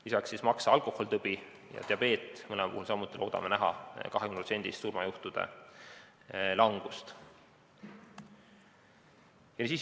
Lisaks maksa alkoholitõbi ja diabeet, mõlema puhul loodame samuti näha 20%-list surmajuhtude langust.